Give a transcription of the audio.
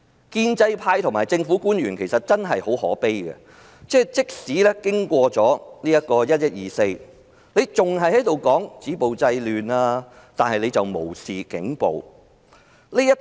建制派和政府官員真的很可悲，即使經過"十一二四"，還是繼續說止暴制亂，但無視警暴。